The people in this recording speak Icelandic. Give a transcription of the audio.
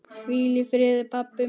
Hvíl í friði pabbi minn.